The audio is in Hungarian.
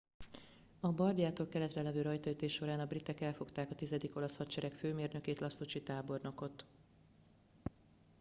a bardiától keletre levő rajtaütés során a britek elfogták a tizedik olasz hadsereg főmérnökét lastucci tábornokot